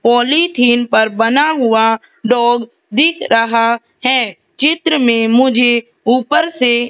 polythene पर बना हुआ डॉग दिख रहा है चित्र में मुझे ऊपर से --